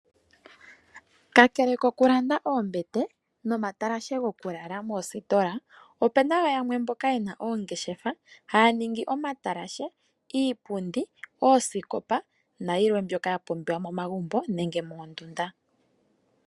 Kakele kokulanda oombete nomatalashe gokulala moositola opuna wo yamwe mboka yena oongeshefa haya ningi omatalashe, iipundi, oosikopa nayilwe mbyoka hapumbiwa momagumbo nenge moondunda.